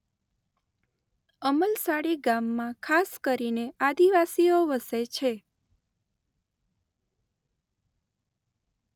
અમલસાડી ગામમાં ખાસ કરીને આદિવાસીઓ વસે છે.